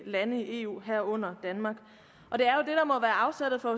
lande i eu herunder danmark og afsættet for